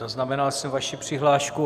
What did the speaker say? Zaznamenal jsem vaši přihlášku.